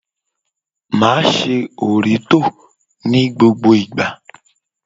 Máa ṣe òrítọ́ ní gbogbo ìgbà.